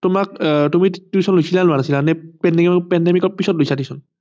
তোমাক আহ তুমি tuition লৈছিলা নে লোৱা নাছিলা নে pandemic ৰ পিছত লৈছা tution